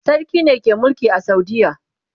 sarki ne ke Mulki a saudiya